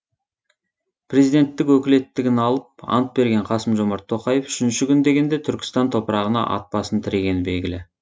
президенттік өкілеттігін алып ант берген қасым жомарт тоқаев үшінші күн дегенде түркістан топырағына ат басын тірегені белгілі